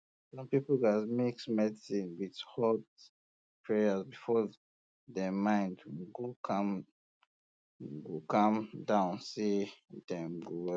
some people gas mix medicine with hot prayers before dem mind go calm go calm down say dem go well